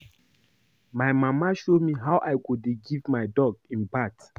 My mama show me how I go dey give my dog im bath